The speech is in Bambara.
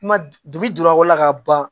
Kuma dugubi donna ko la ka ban